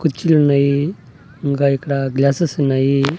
కుర్చీలున్నాయి ఇంకా ఇక్కడ గ్లాసెస్ ఉన్నాయి.